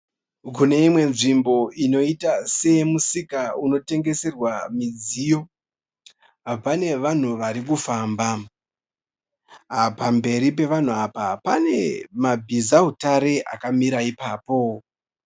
Kune imwe nzvimbo inoita seyemusika unotengeserwa midziyo pane vanhu vari kufamba. Pamberi pevanhu apa pane mabhizautare akamira ipapo.